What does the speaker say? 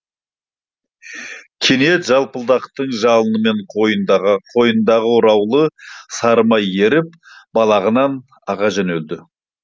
кенет жалпылдақтың жалынымен қойнындағы ораулы сары май еріп балағынан аға жөнеледі